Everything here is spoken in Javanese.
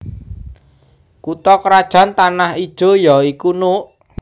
Kutha krajan Tanah Ijo ya iku Nuuk